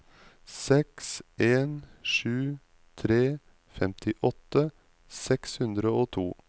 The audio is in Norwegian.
seks en sju tre femtiåtte seks hundre og to